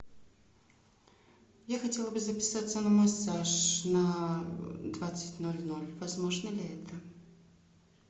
я хотела бы записаться на массаж на двадцать ноль ноль возможно ли это